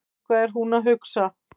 Eitthvað er hún að hugsa.